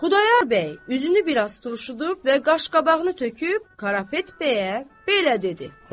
Xudayar bəy üzünü bir az turşudub və qaş-qabağını töküb Qarapet bəyə belə dedi: